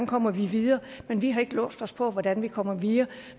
kommer videre men vi har ikke låst os fast på hvordan vi kommer videre